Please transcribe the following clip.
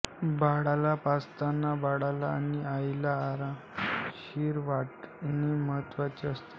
बाळाला पाजताना बाळाला आणि आईला आरामशीर वाटणे महत्वाचे असते